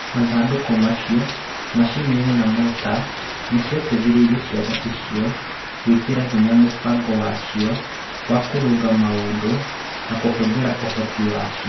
Mathandũkũ macio, macini na mota nĩ ciateithirie ciana icio gwĩkĩra hinya mũbango wa cio wa kũrũnga maũndũ na kũhũthĩra ũhoti wa cio.